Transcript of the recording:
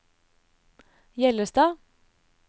Hjellestad